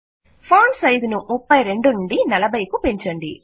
font size ను 32 నుండి 40 కు పెంచండి